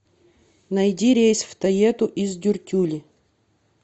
найди рейс в тоету из дюртюли